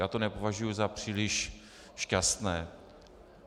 Já to nepovažuji za příliš šťastné.